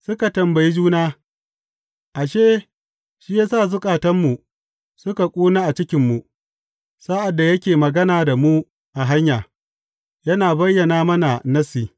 Suka tambayi juna, Ashe, shi ya sa zukatanmu suka kuna a cikinmu, sa’ad da yake magana da mu a hanya, yana bayyana mana Nassi.